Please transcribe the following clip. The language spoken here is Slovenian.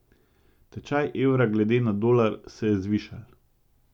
Tečaj evra glede na dolar se je zvišal.